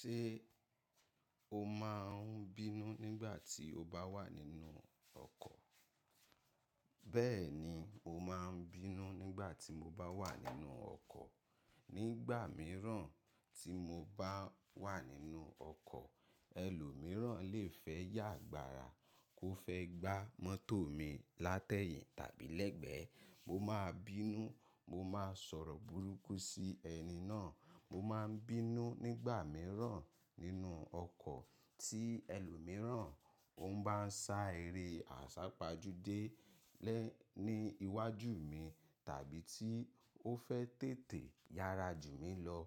Ṣé o máa ń bínú nígbà tí o bá wà nínú ọkọ̀? Bẹ́ẹ̀ni, mo máa ń bínú nígbà tí mo bá wà nínú ọkọ̀. Nígbà mìíràn tí mo bá wà nínú ọkọ̀, ẹlòmíràn lè fẹ́ yàgbàrà kó fẹ́ gbá mọ́tò mi látẹ̀yìn tàbí lẹ́gbẹ̀ẹ́, mo máa ń bínú. Mo máa ń sọ̀rọ̀ burúkú sí ẹni náà. Mo máa ń bínú, nígbà mìíràn nínú ọkọ̀ tí ẹlòmíràn ò ń bá ń sá eré àsápajúdé Ni iwájú mi tàbí tí ó fẹ́ tètè yára jù mí lọ